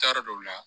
Taari dɔw la